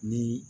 Ni